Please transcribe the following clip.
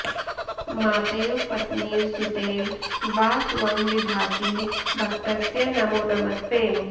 मातेव पत्नीव सुतेव वा त्वं विभासि भक्तस्य नमो नमस्ते